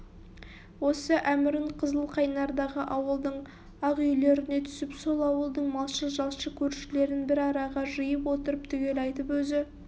осы әмірін қызылқайнардағы ауылдың ақ үйлеріне түсіп сол ауылдың малшы-жалшы көршілерін бір араға жиып отырып түгел айтып өзі